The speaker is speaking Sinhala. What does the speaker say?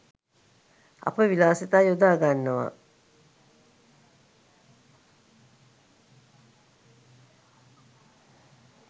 අපි විලාසිතා යොදා ගන්නවා